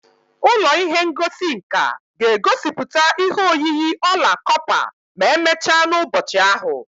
Ụlọ ihe ngosi nka ga-egosipụta ihe oyiyi ọla kọpa ma emechaa n'ụbọchị ahụ